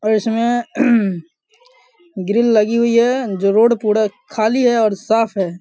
और इसमें ग्रिल लगी हुई है जो रोड पूरा खाली है और साफ़ है।